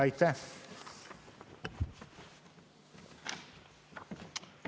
Aitäh!